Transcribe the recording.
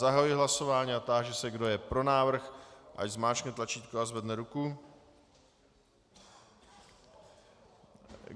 Zahajuji hlasování a táži se, kdo je pro návrh, ať zmáčkne tlačítko a zvedne ruku.